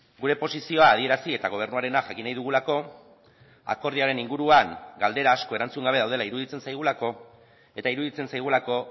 gure posizioa adierazi eta gobernuarena jakin nahi dugulako akordioaren inguruan galdera asko erantzun gabe daudela iruditzen zaigulako eta iruditzen zaigulako